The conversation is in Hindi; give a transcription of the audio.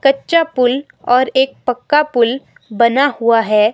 कच्चा पुल और एक पक्का पुल बना हुआ है।